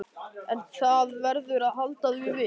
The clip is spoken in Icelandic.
En það verður að halda því við.